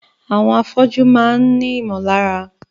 Àwọn afọ́jú máà ń ní ìmọ̀lára.